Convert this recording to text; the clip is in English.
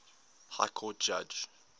high court judge